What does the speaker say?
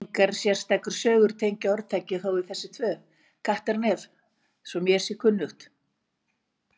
Engar sérstakar sögur tengja orðtakið þó við þessi tvö Kattarnef svo mér sé kunnugt.